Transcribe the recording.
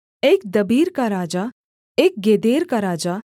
एक दबीर का राजा एक गेदेर का राजा